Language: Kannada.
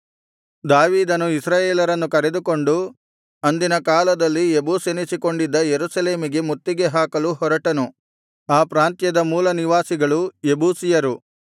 ದಾವೀದನು ಇಸ್ರಾಯೇಲರನ್ನು ಕರೆದುಕೊಂಡು ಅಂದಿನಕಾಲದಲ್ಲಿ ಯೆಬೂಸೆನಿಸಿಕೊಂಡಿದ್ದ ಯೆರೂಸಲೇಮಿಗೆ ಮುತ್ತಿಗೆ ಹಾಕಲು ಹೊರಟನು ಆ ಪ್ರಾಂತ್ಯದ ಮೂಲನಿವಾಸಿಗಳು ಯೆಬೂಸಿಯರು